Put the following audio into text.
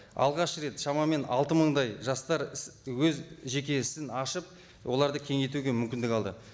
алғаш рет шамамен алты мыңдай жастар іс өз жеке ісін ашып оларды кеңейтуге мүмкіндік алды